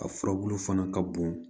A furabulu fana ka bon